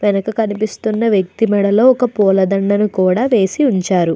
వెనక కనిపిస్తున్న వ్యక్తి మెడలో ఒక పూల దండను కూడా వేసి ఉంచారు.